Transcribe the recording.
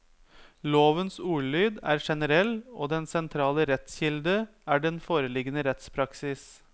Lovens ordlyd er generell, og den sentrale rettskilde er den foreliggende rettspraksis.